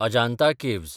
Ajanta caves